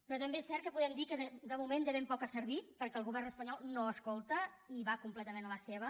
però també és cert que podem dir que de moment de ben poc ha servit perquè el govern espanyol no escolta i va completament a la seva